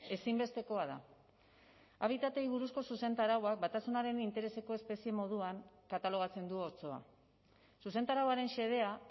ezinbestekoa da habitatei buruzko zuzentarauak batasunaren intereseko espezie moduan katalogatzen du otsoa zuzentarauaren xedea